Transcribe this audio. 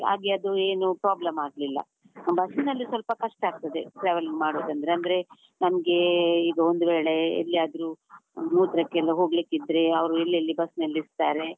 ಹಾಗೆ ಅದು ಏನು problem ಆಗ್ಲಿಲ್ಲ, ಬಸ್ಸಿನಲ್ಲಿ ಸ್ವಲ್ಪ ಕಷ್ಟ ಆಗ್ತದೆ, traveling ಮಾಡುದಂದ್ರೆ, ಅಂದ್ರೆ ನಮ್ಗೆ ಈಗ ಒಂದು ವೇಳೆ ಎಲ್ಲಿಯಾದ್ರು ಆ ಮೂತ್ರಕ್ಕೆ ಎಲ್ಲ ಹೋಗ್ಲಿಕ್ಕೆ ಇದ್ರೆ ಅವರು ಎಲ್ಲೆಲ್ಲಿ ಬಸ್ ನಿಲ್ಲಿಸ್ತಾರೆ.